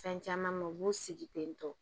Fɛn caman ma u b'u sigi ten tɔ